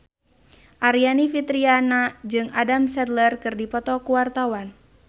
Aryani Fitriana jeung Adam Sandler keur dipoto ku wartawan